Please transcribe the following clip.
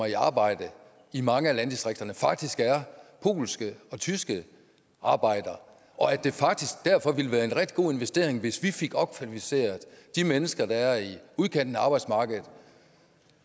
i arbejde i mange af landdistrikterne faktisk er polske og tyskere arbejdere og at det faktisk derfor ville være en rigtig god investering hvis vi fik opkvalificeret de mennesker der er i udkanten af arbejdsmarkedet